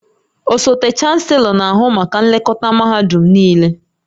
Osote Chanselọ na-ahụ maka nlekọta mahadum niile